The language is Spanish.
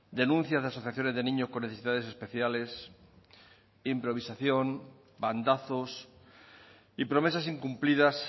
denuncias de asociaciones de niños con necesidades especiales improvisación bandazos y promesas incumplidas